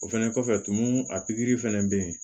O fɛnɛ kɔfɛ tumu a pigiri fana bɛ yen